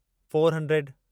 four hundred